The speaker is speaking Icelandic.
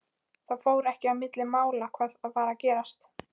Það fór ekki milli mála hvað var að gerast.